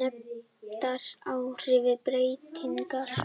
nefndar áhrifsbreytingar.